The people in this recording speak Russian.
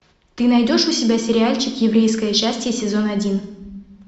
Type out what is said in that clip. ты найдешь у себя сериальчик еврейское счастье сезон один